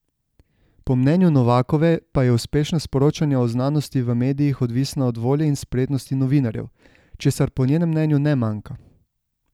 Po mnenju Novakove pa je uspešnost poročanja o znanosti v medijih odvisna od volje in spretnosti novinarjev, česar po njenem mnenju ne manjka.